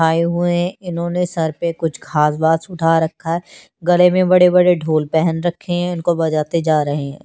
आए हुए है इन्होंने सर पे कुछ घास वास उठा रखा है गले मे बड़े बड़े ढोल पहन के रखे हुए है इनको बजाते जा रहे है।